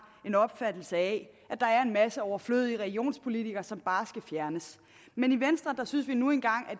en opfattelse af at der er en masse overflødige regionspolitikere som bare skal fjernes men i venstre synes vi nu engang